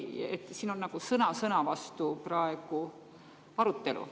Siin on praegu nagu sõna-sõna-vastu-arutelu.